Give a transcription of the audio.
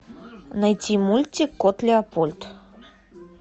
найти мультик кот леопольд